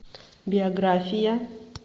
биография